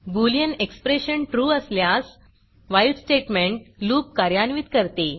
Boolean expression trueट्रू असल्यास while while statement loopलूप कार्यान्वित करते